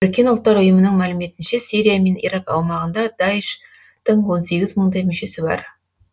біріккен ұлттар ұйымының мәліметінше сирия мен ирак аумағында даиш тың он сегіз мыңдай мүшесі бар